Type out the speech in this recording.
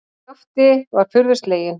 Skapti var furðu sleginn.